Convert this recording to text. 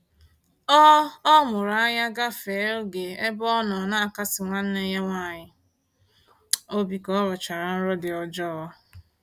Ọ Ọ mụrụ anya gafee oge ebe ọnọ n'akasi nwanne ya nwaanyị obi ka ọrọchara nrọ dị ọjọọ